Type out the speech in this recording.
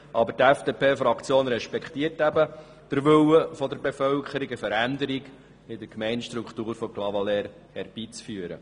Aber die FDPFraktion respektiert den Willen der Bevölkerung, eine Veränderung in der Gemeindestruktur von Clavaleyres herbeizuführen.